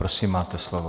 Prosím, máte slovo.